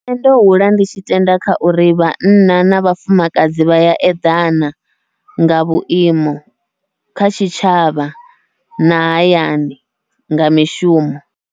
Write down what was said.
Nṋe ndo hula ndi tshi tenda kha uri vhanna na vhafumakadzi vha ya eḓana nga vhuimo, kha tshitshavha na hayani nga mishumo.